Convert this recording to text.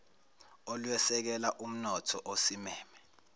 olwesekela umntotho osimeme